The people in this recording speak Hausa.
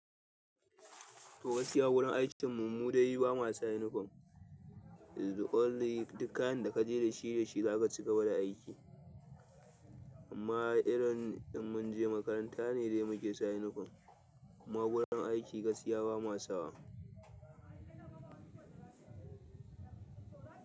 To, gaskiya wurin aikin mu mu dai ba mu sa yunifom. The only duk kayan da ka je da shi, da shi za ka ci gaba da aiki. Amma irin in mun je makaranta ne dai muke sa yunifom. Kuma wurin aiki gaskiya ba ma sawa.